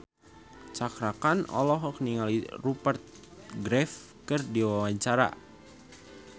Cakra Khan olohok ningali Rupert Graves keur diwawancara